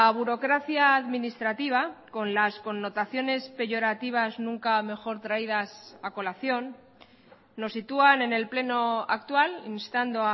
burocracia administrativa con las connotaciones peyorativas nunca mejor traídas a colación nos sitúan en el pleno actual instando